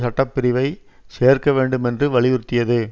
சட்ட பிரிவை சேர்க்க வேண்டும் என்று வலியுறுத்தியது